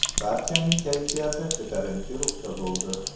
Barchaning kayfiyati ko‘tarinki ruhda bo‘ldi.